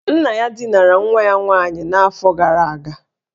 Nna ya dinara nwa ya nwaanyị n'afọ gara aga